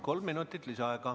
Kolm minutit lisaaega.